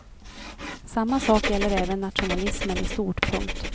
Samma sak gäller även nationalismen i stort. punkt